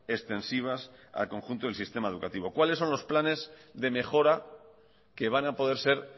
extensivas al conjunto del sistema educativo cuáles son los planes de mejora que van a poder ser